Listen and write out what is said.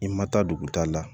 I ma taa duguta la